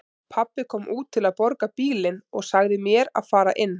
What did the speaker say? Pabbi kom út til að borga bílinn og sagði mér að fara inn.